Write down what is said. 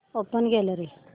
open gallery